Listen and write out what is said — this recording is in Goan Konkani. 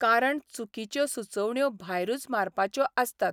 कारण चुकीच्यो सुचोवण्यो भायरूच मारपाच्यो आसतात.